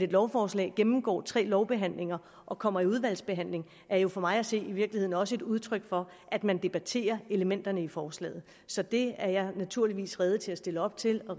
lovforslag gennemgår tre lovbehandlinger og kommer i udvalgsbehandling er jo for mig at se i virkeligheden også et udtryk for at man debatterer elementerne i forslaget så det er jeg naturligvis rede til at stille op til og